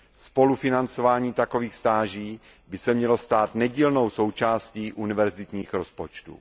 Spolufinancování takových stáží by se mělo stát nedílnou součástí univerzitních rozpočtů.